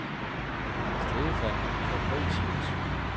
Stefan Fabricius